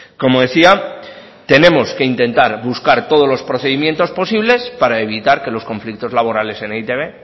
como decía tenemos que intentar buscar todos los procedimientos posibles para evitar que los conflictos laborales en e i te be